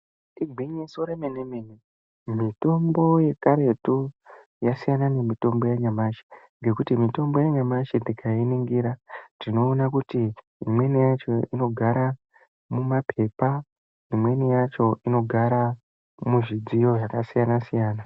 Igwinyiso remene mene, mitombo yekaretu yasiyana nemitombo yanyamashe nekuti imweni yacho inogara mumapepa imweni yacho mumidziyo yakasiyana siyana.